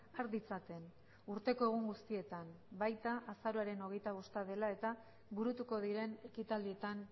har ditzaten urteko egun guztietan baita azaroaren hogeita bosta dela eta burutuko diren ekitaldietan